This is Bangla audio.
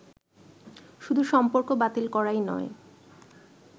শুধু সম্পর্ক বাতিল করাই নয়